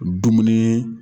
Dumuni